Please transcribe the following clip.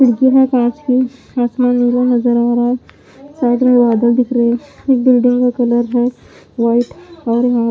फड़की है कांच की आसमान नीला नजर आ रहा है साइड में बादल दिख रहे हैं एक बिल्डिंग का कलर है वाइट और यहां--